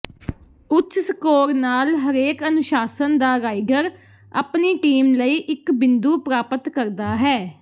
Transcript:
ਉੱਚ ਸਕੋਰ ਨਾਲ ਹਰੇਕ ਅਨੁਸ਼ਾਸਨ ਦਾ ਰਾਈਡਰ ਆਪਣੀ ਟੀਮ ਲਈ ਇਕ ਬਿੰਦੂ ਪ੍ਰਾਪਤ ਕਰਦਾ ਹੈ